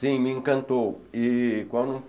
Sim, me encantou e quando